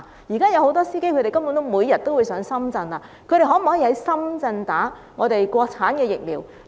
目前很多司機每天前往深圳，他們可否在深圳接受國產疫苗注射？